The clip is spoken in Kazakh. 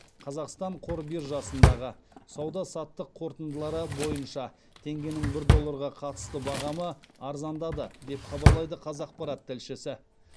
қазақстан қор биржасындағы сауда саттық қорытындылары бойынша теңгенің бір долларға қатысты бағамы арзандады деп хабарлайды қазақпарат тілшісі